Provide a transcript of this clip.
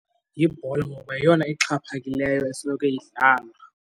Yibhola ngoba yeyona ixhaphakileyo esoloko idlalwa.